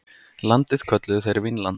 Landið kölluðu þeir Vínland.